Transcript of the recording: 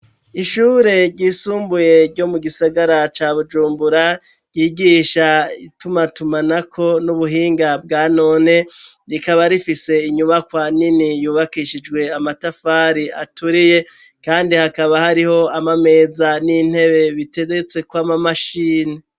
Ishure ryisumbuye ryo mu gisagara ca bujumbura ryigisha itumatumanako n'ubuhinga bwa none rikaba rifise inyubakwa nini yubakishijwe amatafari aturiye kandi hakaba hariho amameza n'intebe biteretseko amamashini.